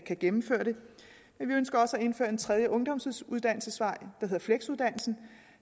kan gennemføre det vi ønsker også at indføre en tredje ungdomsuddannelsesvej der hedder fleksuddannelsen